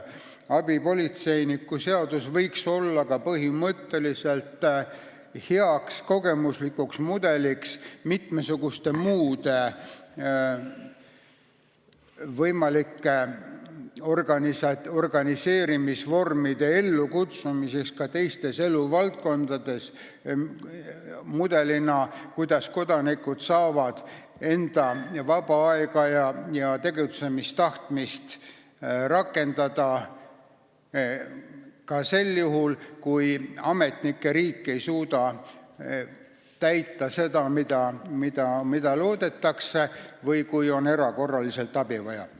Abipolitseiniku seadus võiks olla põhimõtteliselt hea kogemuslik mudel mitmesuguste muude võimalike organiseerimisvormide ellukutsumiseks ka teistes eluvaldkondades, see võiks olla mudel, kuidas kodanikud saavad enda vaba aega ja tegutsemistahtmist rakendada ka sel juhul, kui ametnike riik ei suuda teha seda, mida loodetakse, või siis, kui on erakorraliselt abi vaja.